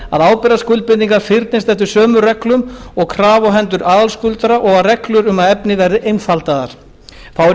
ábyrgðarskuldbindingar fyrnist eftir sömu reglum og krafa á hendur aðalskuldara og að reglur um það efni verði einfaldaðar þá er í